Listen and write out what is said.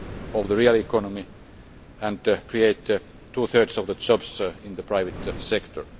of the real economy and create two thirds of the jobs in the private sector.